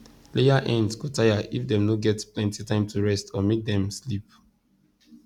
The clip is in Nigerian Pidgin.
layer hens go tire if dem no get plenty time to rest or make dem sleep